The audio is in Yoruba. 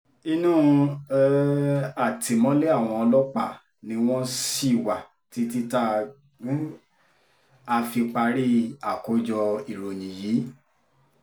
inú um àtìmọ́lé àwọn ọlọ́pàá ni wọ́n ṣì wà títí tá um a fi parí àkójọ ìròyìn yìí